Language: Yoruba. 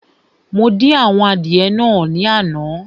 Mo dín àwọn adìẹ naa ní àná